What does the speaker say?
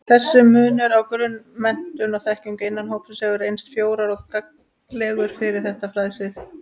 Þessi munur á grunnmenntun og-þekkingu innan hópsins hefur reynst frjór og gagnlegur fyrir þetta fræðasvið.